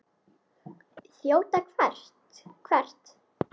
Þjóta hvert?